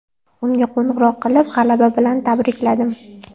Unga qo‘ng‘iroq qilib, g‘alaba bilan tabrikladim.